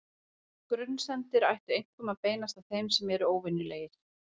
Grunsemdir ættu einkum að beinast að þeim sem eru óvenjulegir.